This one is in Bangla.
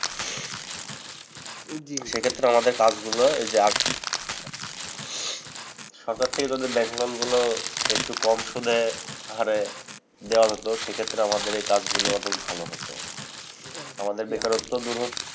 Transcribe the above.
সে ক্ষেত্রে আমাদের কাজগুলো এই যে সরকার থেকে যদি ব্যাংক loan গুলো একটু কম সুদে হারে দেওয়া হতো। সেক্ষেত্রে আমাদের এ কাজগুলো অনেক ভালো হতো। আমাদের বেকারত্ব দূর হতো।